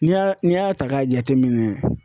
N'i y'a n'i y'a ta k'a jateminɛ.